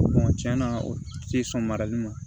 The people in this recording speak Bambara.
tiɲɛna o te sɔn marali ma